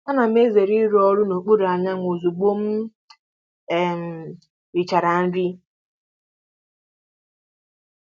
Ana m ezere ịrụ ọrụ n'okpuru anyanwụ ozugbo m um richara nri.